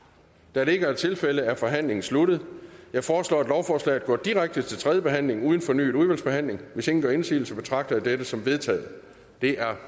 da det ikke er tilfældet er forhandlingen sluttet jeg foreslår at lovforslaget går direkte til tredje behandling uden fornyet udvalgsbehandling hvis ingen gør indsigelse betragter jeg dette som vedtaget det er